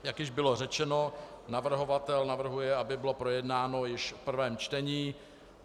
Jak již bylo řečeno, navrhovatel navrhuje, aby bylo projednáno již v prvém čtení.